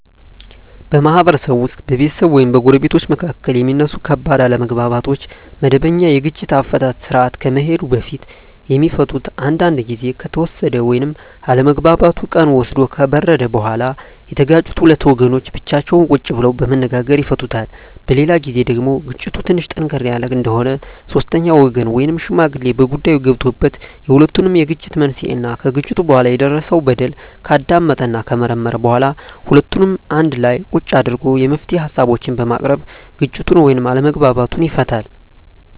በማህበረሰብ ውስጥ በቤተሰብ ወይም በጎረቤቶች መካከል የሚነሱ ከባድ አለመግባባቶች ወደመበኛ የግጭት አፈታት ስርአት ከመሄዱ በፊት የሚፈቱት አንዳንዱ ግዜ ከተወሰደ ወይም አለመግባባቱ ቀን ወስዶ ከበረደ በኋላ የተጋጩት ሁለት ወገኖች ብቻቸውን ቁጭ ብለው በመነጋገር ይፈቱታል። በሌላ ግዜ ደግሞ ግጭቱ ትንሽ ጠንከር ያለ እንደሆነ ሶስተኛ ወገን ወይም ሽማግሌ በጉዳይዮ ገብቶበት የሁለቱንም የግጭት መንሴና ከግጭቱ በኋላ የደረሰው በደል ካዳመጠና ከመረመረ በኋላ ሁለቱንም አንድላ ቁጭ አድርጎ የመፍትሄ ሀሳቦችን በማቅረብ ግጭቱን ወይም አለመግባባቱን ይፈታል።